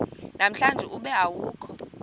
namhlanje ube awukho